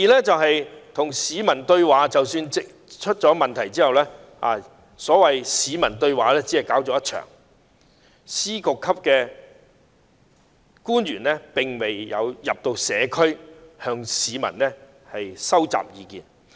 即使出事後，政府亦只舉辦了一場所謂的"對話大會"，司局級官員並沒有走進社區，向市民收集意見。